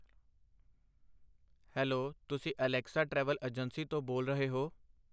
Hello ਤੁਸੀਂ Alexa travel agency ਤੋਂ ਬੋਲ ਰਹੇ ਹੋ?